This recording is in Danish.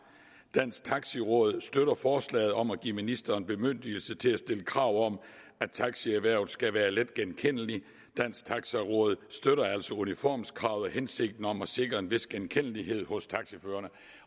dansk taxi råd støtter forslaget om at give ministeren bemyndigelse til at stille krav om at taxierhvervet skal være let genkendeligt dansk taxi råd støtter altså uniformskravet og hensigten om at sikre en vis genkendelighed hos taxachaufførerne